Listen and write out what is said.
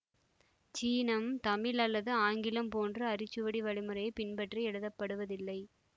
சீனம் தமிழ் அல்லது ஆங்கிலம் போன்று அரிச்சுவடி வழிமுறையை பின்பற்றி எழுதப்படுவதில்லை